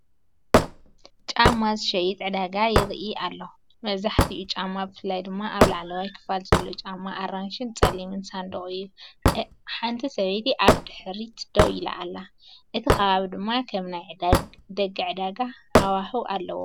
ጫማ ዝሸይጥ ዕዳጋ ይርኢ ኣለኹ። መብዛሕትኡ ጫማ ብፍላይ ድማ ኣብ ላዕለዋይ ክፋል ዘሎ ጫማ ኣራንሺን ጸሊምን ሳንዱቕ እዩ። ሓንቲ ሰበይቲ ኣብ ድሕሪት ደው ኢላ ኣላ፡ እቲ ከባቢ ድማ ከም ናይ ደገ ዕዳጋ ሃዋህው ኣለዎ።